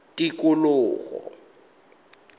tikologo